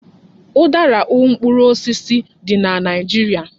Udara u mkpụrụ osisi dị na Naịjirịa.